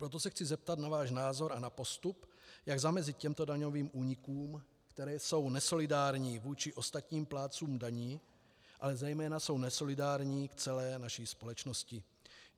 Proto se chci zeptat na váš názor a na postup, jak zamezit těmto daňovým únikům, které jsou nesolidární vůči ostatním plátcům daní, ale zejména jsou nesolidární k celé naší společnosti.